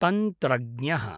तन्त्रज्ञः